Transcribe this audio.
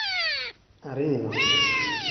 Ariyo.